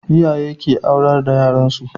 Iyaye ke aurar da yar su